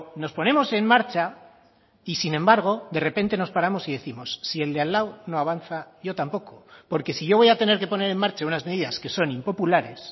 nos ponemos en marcha y sin embargo de repente nos paramos y décimos si el de al lado no avanza yo tampoco porque si yo voy a tener que poner en marcha unas medidas que son impopulares